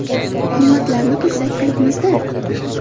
Hurmatlarini qilsak, qilibmiz-da.